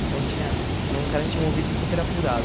Então tinha... Era um cara que tinha um ouvido super apurado.